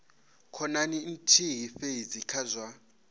khonani nthihi fhedzi kha zwa